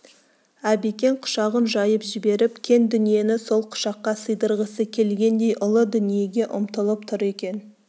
әбекең құшағын жайып жіберіп кең дүниені сол құшаққа сыйдырғысы келгендей ұлы дүниеге ұмтылып тұр екен